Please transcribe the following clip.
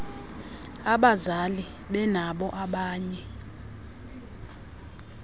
abazali benabo abanye